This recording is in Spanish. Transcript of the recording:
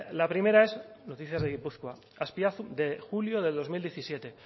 la primera es noticias de gipuzkoa de julio de dos mil diecisiete